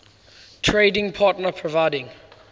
trading partner providing